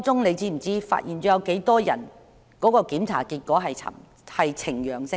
你知道當中有多少人的檢驗結果呈陽性嗎？